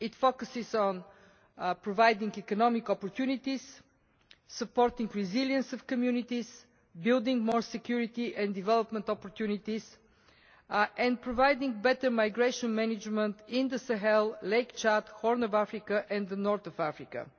It focuses on providing economic opportunities, supporting the resilience of communities, building more security and development opportunities and providing better migration management in the Sahel, Lake Chad, Horn of Africa and North Africa.